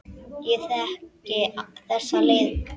Ég þekki þessa leið.